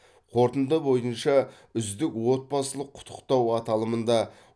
қорытынды бойынша үздік отбасылық құттықтау аталымында